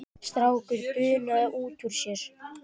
Strákur bunaði út úr sér